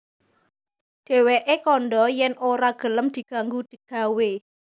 Dhèwèké kandha yèn ora gelem diganggu gawé